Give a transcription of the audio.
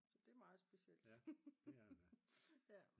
Så det er meget specielt